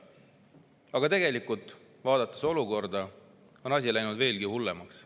Aga tegelikult – vaadates olukorda – on asi läinud veelgi hullemaks.